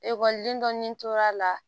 Ekɔliden dɔ ɲini tor'a la